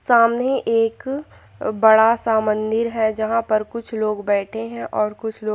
सामने एक बड़ा सा मंदिर है जहाँ पर कुछ लोग बैठे है और कुछ लोग--